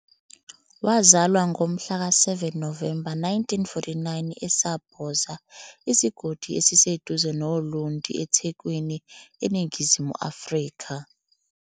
Wazalwa ngomhlaka 7 Novemba 1949 eSabhoza, isigodi esiseduze noLundi, eThekwini, eNingizimu Afrika.